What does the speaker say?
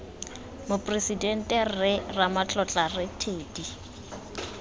moporesidente rre ramotla rre teddy